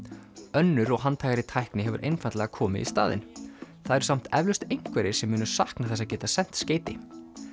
önnur og handhægari tækni hefur einfaldlega komið í staðinn það eru samt eflaust einhverjir sem munu sakna þess að geta sent skeyti